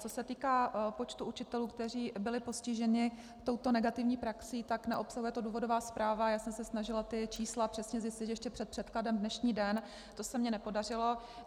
Co se týká počtu učitelů, kteří byli postiženi touto negativní praxi, tak neobsahuje to důvodová zpráva, já jsem se snažila ta čísla přesně zjistit ještě před předkladem dnešní den, to se mně nepodařilo.